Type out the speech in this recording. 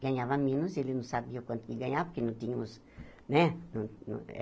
Ganhava menos, ele não sabia quanto ia ganhar, porque não tínhamos, né? Não não